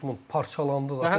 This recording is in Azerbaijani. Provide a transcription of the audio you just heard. Dortmund parçalandı da.